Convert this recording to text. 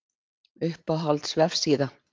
Uppáhalds vefsíða?